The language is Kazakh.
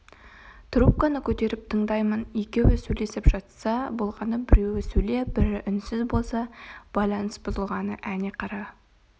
трубканы көтеріп тыңдаймын екеуі сөйлесіп жатса болғаны біреуі сөйлеп бірі үнсіз болса байланыс бұзылғаны әне қара